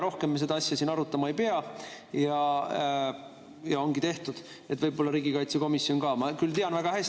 Rohkem me seda asja siin siis arutama ei pea ja ongi tehtud, võib-olla riigikaitsekomisjon ainult.